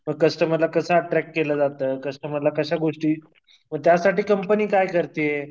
कस्टमरला कसं अट्रॅक्ट केलं जातं? कस्टमरला कशा गोष्टी, म त्यासाठी कंपनी काय करतीये?